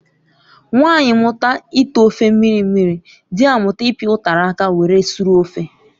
Nwanyị mụta ite ofe mmiri mmiri, dị amụta ịpi utara aka were sụrụ ofe